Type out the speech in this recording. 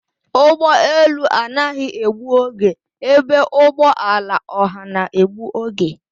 Ụgbọ elu anaghị egbu oge ebe ụgbọ ala ọha na-egbu oge